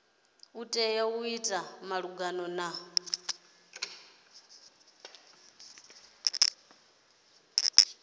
tea u ita malugana na